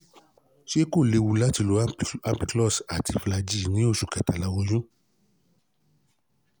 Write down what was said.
ṣé kó léwu láti láti lo ampiclox àti flagyl ní osu kẹtàlá oyún?